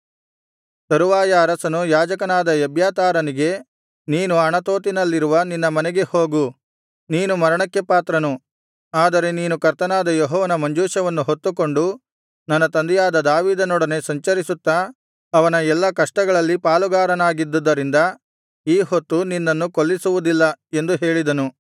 ತರುವಾಯ ಅರಸನು ಯಾಜಕನಾದ ಎಬ್ಯಾತಾರನಿಗೆ ನೀನು ಅಣತೋತಿನಲ್ಲಿರುವ ನಿನ್ನ ಮನೆಗೆ ಹೋಗು ನೀನು ಮರಣಕ್ಕೆ ಪಾತ್ರನು ಆದರೆ ನೀನು ಕರ್ತನಾದ ಯೆಹೋವನ ಮಂಜೂಷವನ್ನು ಹೊತ್ತುಕೊಂಡು ನನ್ನ ತಂದೆಯಾದ ದಾವೀದನೊಡನೆ ಸಂಚರಿಸುತ್ತಾ ಅವನ ಎಲ್ಲಾ ಕಷ್ಟಗಳಲ್ಲಿ ಪಾಲುಗಾರನಾಗಿದ್ದುದ್ದರಿಂದ ಈ ಹೊತ್ತು ನಿನ್ನನ್ನು ಕೊಲ್ಲಿಸುವುದಿಲ್ಲ ಎಂದು ಹೇಳಿದನು